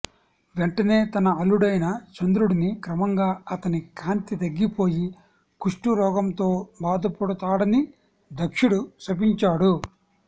వెంటనే తన అల్లుడైన చంద్రుడిని క్రమంగా అతని కాంతి తగ్గిపోయి కుష్టురోగంతో బాధపడుతాడని దక్షుడు శపించాడు